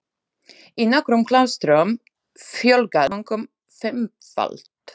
Í nokkrum klaustrum fjölgaði munkum fimmfalt.